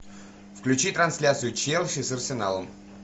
включи трансляцию челси с арсеналом